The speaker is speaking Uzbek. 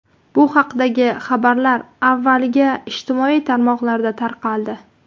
Bu haqdagi xabarlar avvaliga ijtimoiy tarmoqlarda tarqaldi.